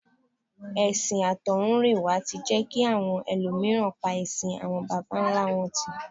Ẹ̀sìn àtọ̀húnrìnwá tí jẹ́ kí àwọn ẹlòmíràn pa ẹṣin àwọn bàbá ńlá wọn tì